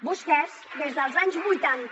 vostès des dels anys vuitanta